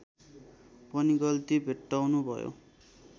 पनि गल्ती भेट्टाउनुभयो